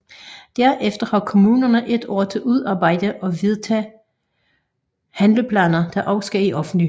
Derefter har kommunerne et år til udarbejde og vedtage handleplaner der også skal i offentlig høring